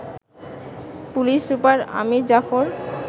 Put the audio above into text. police super Amir Zafar